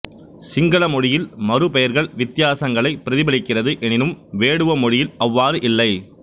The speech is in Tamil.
சிங்கள மொழியில் மறுபெயர்கள் வித்தியாசங்களை பிரதிபலிக்கிறது எனினும் வேடுவ மொழியில் அவ்வாறு இல்லை